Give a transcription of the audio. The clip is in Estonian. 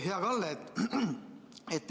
Hea Kalle!